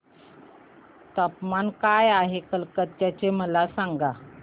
तापमान काय आहे कलकत्ता चे मला सांगा